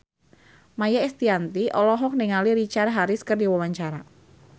Maia Estianty olohok ningali Richard Harris keur diwawancara